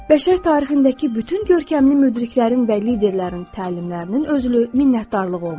Bəşər tarixindəki bütün görkəmli müdriklərin və liderlərin təlimlərinin özü minnətdarlıq olmuşdu.